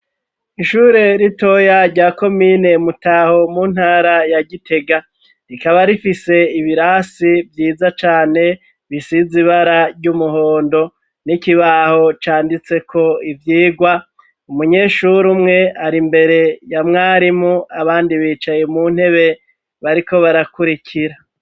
Ishure ritoya rya ko mine mutaho mu ntara ya gitega rikaba rifise ibirasi vyiza cane bisize ibara ry'umuhondo n'ikibaho canditse ko ivyirwa umunyeshuri umwe ari imbere ya mwarimu abandi bicaye mu ntebebri eko barakurikira.